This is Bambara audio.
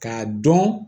K'a dɔn